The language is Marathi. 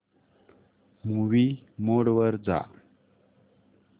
मूवी मोड वर जा